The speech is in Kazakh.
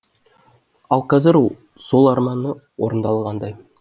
ал қазір сол арманы орындалғандай